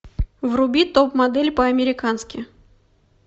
вруби топ модель по американски